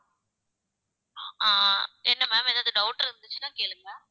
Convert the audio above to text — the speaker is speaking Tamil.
ஆஹ் என்ன ma'am ஏதாவது doubt இருந்துச்சுன்னா கேளுங்க ma'am